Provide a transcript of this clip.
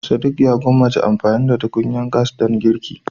Sadiq ya gwammace amfani da tukunyar gas don girki.